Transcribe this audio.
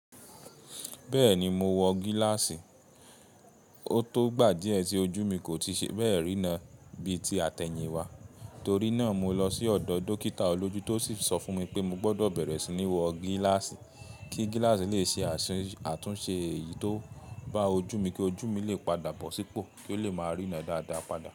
Bẹ́ẹ̀ni mo wọ gíláàsì, ó tó gbà díẹ̀ tí ojú mi kò tíì ṣe bẹ́ẹ̀ rína bí ti àtẹ̀yìn wá, torí náà mo lọ sí ọ̀dọ̀ dókítà olójú tó sì sọ fún mi pé mo gbọdọ̀ bẹ̀rẹ̀ sí ní wọ gíláàsì, kí gíláàsì lè ṣe àtúnṣe èyí tó bá ojú mi kí ojú mi lè padà bọ̀ sípò kí ó lè máa rína dáadáa padà.